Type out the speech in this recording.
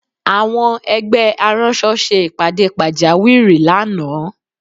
Àwọn ẹgbẹ́ aránṣọ ṣe ìpàdé pàjáwìrí lánàá